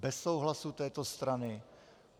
Bez souhlasu této strany?